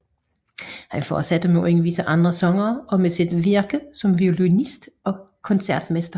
Han fortsatte med at undervise andre sangere og med sit virke som violinist og koncertmester